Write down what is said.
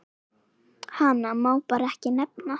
Hana má bara ekki nefna.